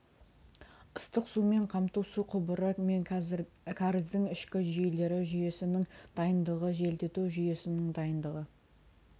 ыстық сумен қамту су құбыры мен кәріздің ішкі жүйелері жүйесінің дайындығы желдету жүйесінің дайындығы